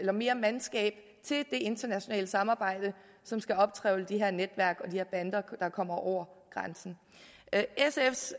er mere mandskab til det internationale samarbejde som skal optrevle de her netværk og de her bander der kommer over grænsen sfs